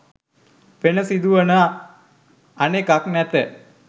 වෙන සිදුවන අනෙකක් නැත